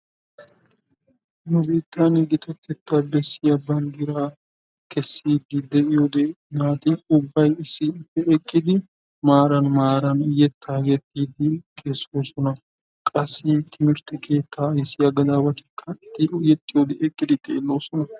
Nu biittan gitatetta bessiya banddiraa kessidi deiyode naati ubbay issippe eqqidi maaran maaran yettaa yexxiidi kessossona. Qassi timirtte keettaa ayssiya gadawatikka eti exxiyode eqqidi xeellidi de'oosona